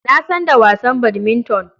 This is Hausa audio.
Na san da wasan badminton.